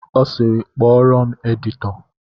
Ọ sịịrị, kpọọrọ m editọ!